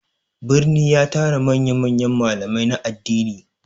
Birni ya tara manya-manyan malamai na addini.